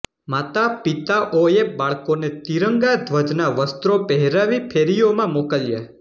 માતા પિતાઓએ બાળકોને ત્રિરંગા ધ્વજના વસ્ત્રો પહેરાવી ફેરીઓમાં મોકલ્યા